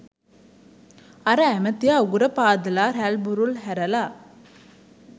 අර ඇමතියා උගුර පාදලා රැල්බුරුල් හැරලා